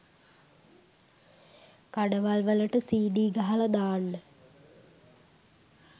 කඩවල් වලට සීඩී ගහල දාන්න